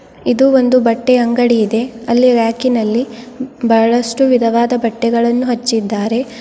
ಇದು ಒಂದು ಬಟ್ಟೆಯ ಅಂಗಡಿ ಇದೆ ಅಲ್ಲಿ ರ್ಯಾಕ್ ನಲ್ಲಿ ಬಹಳಷ್ಟು ವಿಧವಿಧವಾದ ಬಟ್ಟೆಗಳನ್ನು ಹಚ್ಚಿದಾರೆ.